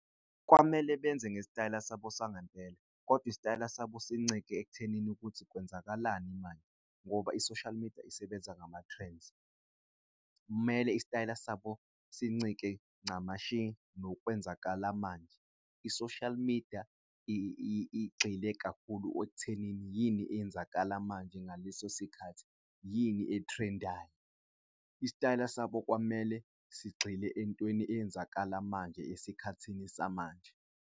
Kwamele benze ngestayela sabo sangempela kodwa isitayela sabo sincike ekuthenini ukuthi kwenzakalani manje ngoba i-social media isebenza ngama-trends. Kumele isitayela sabo sincike ncamashi nokwenzakala manje i-social media igxile kakhulu ekuthenini yini eyenzakala manje ngaleso sikhathi, yini e-trend-ayo isitayela sabo kwamele sigxile entweni eyenzakala manje, esikhathini samanje.